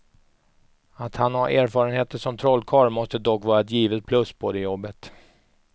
Att han har erfarenheter som trollkarl måste dock vara ett givet plus på det jobbet.